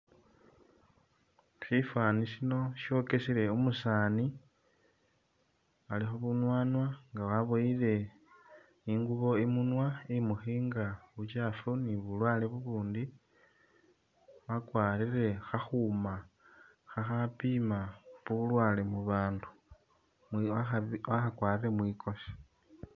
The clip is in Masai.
Shifaani shino shokesele umusaani alikho bunwanwa nga waboyele ingubo imunwa imukhinga buchafu ni bulwale bubundi, wakwarire khakhuuma khakhapima bulwale mubandu mwiyo wakha wakhakwarire mwikosi